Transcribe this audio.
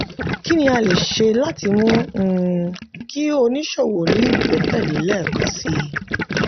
kí ni a lè ṣe láti mú um kí oníṣòwò ní ìgbẹ́kẹ̀lé lẹ́ẹ̀kansi?